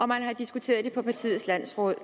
man har diskuteret det på partiets landsråd